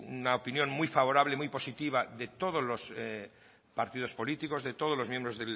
una opinión muy favorable muy positiva de todos los partidos políticos de todos los miembros